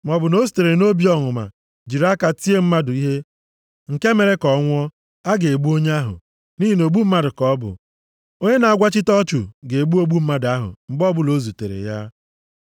maọbụ na o sitere nʼobi ọnụma jiri aka ya tie mmadụ ihe nke mere ka ọ nwụọ, a ga-egbu onye ahụ, nʼihi na ogbu mmadụ ka ọ bụ. Onye na-agwachite ọchụ ga-egbu ogbu mmadụ ahụ mgbe ọbụla o zutere ya.